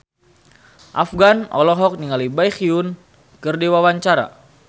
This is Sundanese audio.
Afgan olohok ningali Baekhyun keur diwawancara